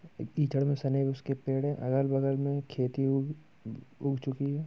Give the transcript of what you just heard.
कीचड़ मे सने उसके पेड़ो अगल बगल में खेती उ-उग चुकी है।